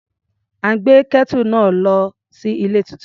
À ń gbé Kẹ́tù náà lọ sí ilé tuntun.